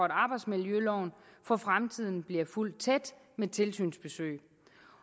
arbejdsmiljøloven for fremtiden bliver fulgt tæt med tilsynsbesøg